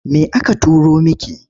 Me aka turo miki?